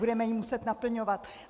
Budeme ji muset naplňovat.